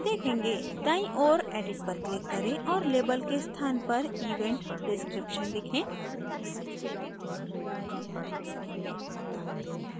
दाईं ओर edit पर click करें और label के स्थान पर event description लिखें